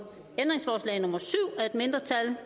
mindretal